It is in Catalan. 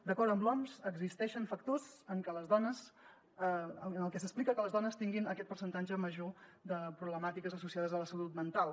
d’acord amb l’oms existeixen factors en els que s’explica que les dones tinguin aquest percentatge major de problemàtiques associades a la salut mental